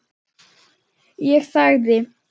Ég þagði.